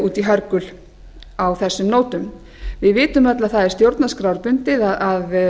út í hörgul á þessum nótum við vitum öll að það er stjórnarskrárbundið að